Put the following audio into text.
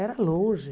Era longe.